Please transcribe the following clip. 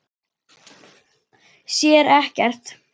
Sér ekkert.